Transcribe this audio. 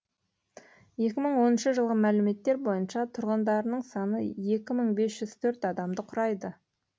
екі мың оныншы жылғы мәліметтер бойынша тұрғындарының саны екі мың бес жүз төрт адамды құрайды